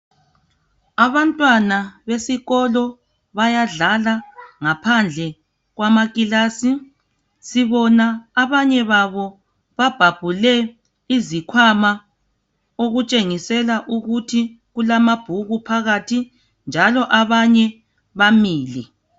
Abantwana besikolo bayadlala ngaphandle kwamakilasi sibona abanye babo babhabhule izikhwama okutshengisela ukuthi kulamabhuku phakathi njalo abanye bamile